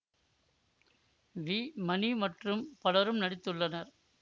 we Mani மற்றும் பலரும் நடித்துள்ளனர்